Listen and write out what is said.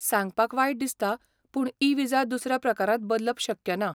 सांगपाक वायट दिसता पूण ई विजा दुसऱ्या प्रकारांत बदलप शक्य ना.